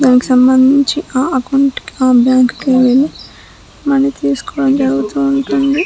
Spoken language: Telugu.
దానికి సంబంధించిన ఆ అకౌంట్ కి ఆ బ్యాంకు కి వెళ్లి మనీ తీసుకోవడం జరుగుతూ ఉంటుంది.